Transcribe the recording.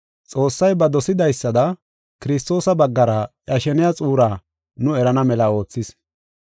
Xoossay ba dosidaysada Kiristoosa baggara iya sheniya xuuraa nu erana mela oothis.